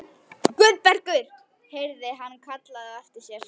Guðbergur heyrði hann kallað á eftir sér.